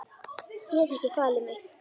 Get ekki falið mig.